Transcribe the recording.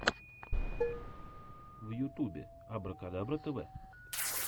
в ютюбе абракадабра тв